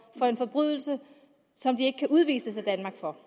for en forbrydelse som de ikke kan udvises af danmark for